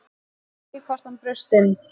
Man ekki hvort hann braust inn